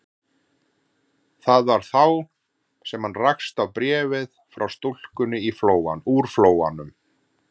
Það var þá sem hann rakst á bréfið frá stúlkunni úr Flóanum.